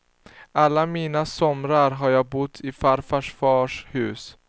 Alla mina somrar har jag bott i farfars fars hus.